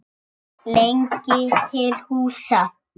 lengi til húsa.